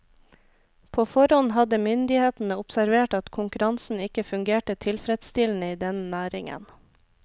På forhånd hadde myndighetene observert at konkurransen ikke fungerte tilfredsstillende i denne næringen.